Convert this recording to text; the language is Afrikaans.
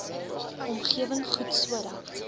omgewing goed sodat